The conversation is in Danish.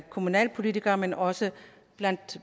kommunalpolitikere men også blandt